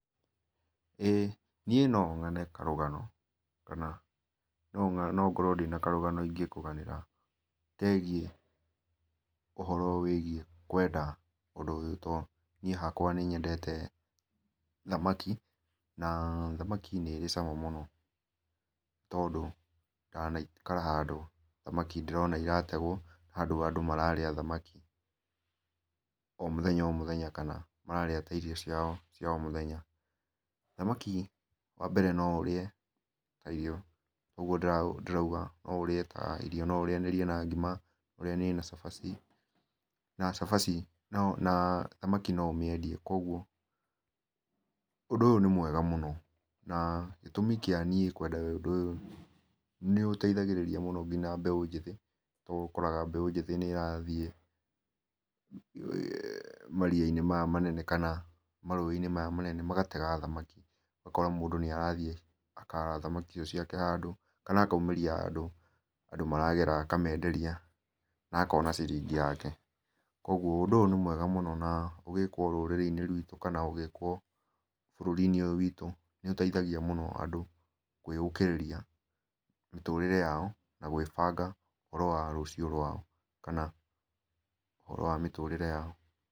Ĩĩ niĩ no ng'ane karũgano kana no ngorwo na karũgano ingĩkũganĩra kegiĩ ũhoro wĩgiĩ kũenda ũndũ ũyũ tondũ niĩ hakwa nĩnyendete thamakĩ. Na thamakĩ nĩ ĩrĩ cama mũno, tondũ ndanaikara handũ ndĩrona thamakĩ ĩrategwo, handũ andũ mararĩa thamakĩ o mũthenya o mũthenya, kana mararia ta irio ciao cia o mũthenya. Thamakĩ wa mbere no ũrĩe ta irio ũguo ndĩrauga, no ũrĩe ta irio no ũrĩanĩrie na ngima, ũrĩanĩrie na cabaci na cabaci na thamakĩ no ũmĩendie koguo, ũndũ ũyũ nĩ mwega mũno na gĩtũmi kĩa niĩ kũenda ũndũ ũyũ nĩũteithagĩrĩria mũno nginya mbeũ njĩthĩ, rĩu nĩ ũkoraga mbeũ njĩthĩ nĩrathiĩ eeh maria-inĩ maya manene, kana marũĩ-inĩ maya manene magatega thamaki, ũgakora mũndũ nĩ arathiĩ akaara thamaki icio ciake handũ kana akaumĩria handũ andũ maragera akamenderia na akona ciringi yake. Koguo ũndũ ũyũ nĩ mwega mũno na ũgĩkwo rũrĩrĩ-inĩ rwĩtũ kana ũgĩkwo bũrũri -inĩ ũyũ wĩtũ nĩ ũteithagia mũno andũ kwĩyũkĩrĩria mĩtũrĩre yao na kwĩbanga ũhoro wa rũcio rwao, kana ũhoro wa mĩtũrĩre yao.